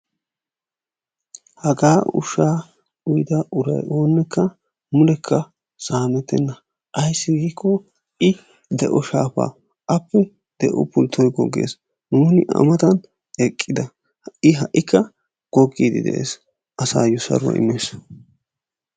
Haggaa ushshaa uyda uray oonekka mulekka saamettena ayssi giikko I de'o shaafa appe de'o pultoy goggees nuuni A mattan eqqida I ha'kka gogiidi dees, asayo saruwaa imees.